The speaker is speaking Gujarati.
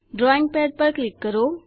ડ્રોઈંગ પેડ પર ક્લિક કરો